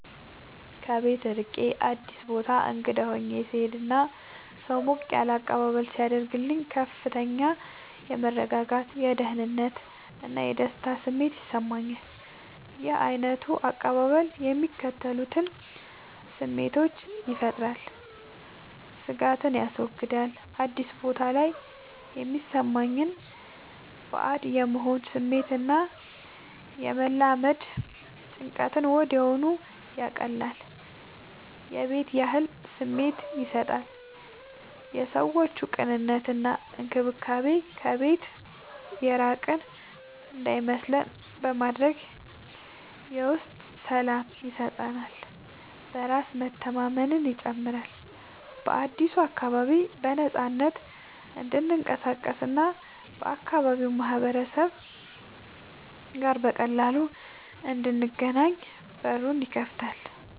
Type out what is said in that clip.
ከቤት ርቄ አዲስ ቦታ እንግዳ ሆኜ ስሄድ እና ሰው ሞቅ ያለ አቀባበል ሲያደርግልኝ ከፍተኛ የመረጋጋት፣ የደህንነት እና የደስታ ስሜት ይሰማኛል። ይህ ዓይነቱ አቀባበል የሚከተሉትን ስሜቶች ይፈጥራል፦ ስጋትን ያስወግዳል፦ አዲስ ቦታ ላይ የሚሰማንን ባዕድ የመሆን ስሜት እና የመላመድ ጭንቀትን ወዲያውኑ ያቀልላል። የቤት ያህል ስሜት ይሰጣል፦ የሰዎቹ ቅንነት እና እንክብካቤ ከቤት የራቅን እንዳይመስለን በማድረግ የውስጥ ሰላም ይሰጠናል። በራስ መተማመንን ይጨምራል፦ በአዲሱ አካባቢ በነፃነት እንድንቀሳቀስ እና ከአካባቢው ማህበረሰብ ጋር በቀላሉ እንድንገናኝ በሩን ይከፍትልናል።